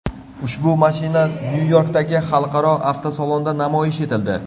Ushbu mashina Nyu-Yorkdagi xalqaro avtosalonda namoyish etildi.